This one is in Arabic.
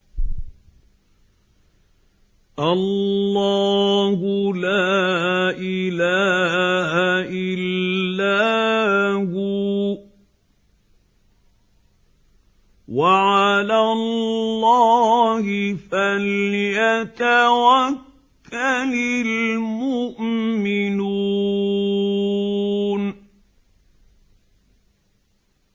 اللَّهُ لَا إِلَٰهَ إِلَّا هُوَ ۚ وَعَلَى اللَّهِ فَلْيَتَوَكَّلِ الْمُؤْمِنُونَ